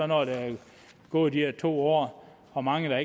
når der er gået de her to år hvor mange der